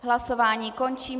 Hlasování končím.